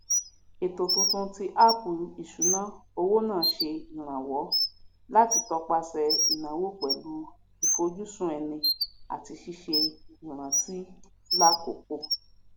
ètò tuntun tí áàpù ìṣúná owó náà ṣe ìrànwọ láti topasẹ ìnáwó pẹlu ifojusun ẹni àti ṣíṣe ìrántí lákǒkò